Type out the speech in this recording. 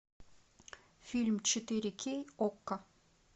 фильм четыре кей окко